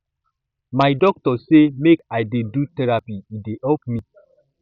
my doctor sey make i dey do therapy e dey help me